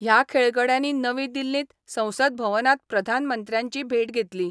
ह्या खेळगड्यांनी नवी दिल्लींत संसद भवनांत प्रधानमंत्र्यांची भेट घेतली.